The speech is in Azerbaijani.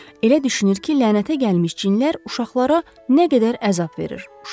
Elə düşünür ki, lənətə gəlmiş cinlər uşaqlara nə qədər əzab verir.